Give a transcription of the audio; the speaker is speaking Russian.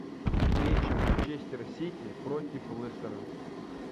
встреча манчестер сити против лестера